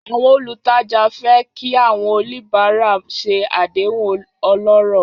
Àwọn olùtajà fẹ́ kí àwọn oníbàárà ṣe àdéhùn ọlọ́rọ̀.